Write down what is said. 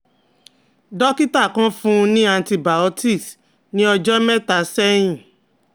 dókítà kan fún un ní antibiotics ni ojo mẹ́ta sẹ́hìn